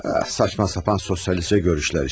Ax, saçma sapan sosialist görüşlər işte.